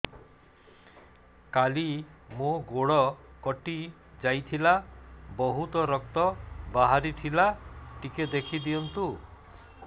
କାଲି ମୋ ଗୋଡ଼ କଟି ଯାଇଥିଲା ବହୁତ ରକ୍ତ ବାହାରି ଥିଲା ଟିକେ ଦେଖି ଦିଅନ୍ତୁ